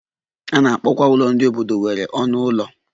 A na-akpọkwa ụlọ ndị obodo nwere ọnụ ụlọ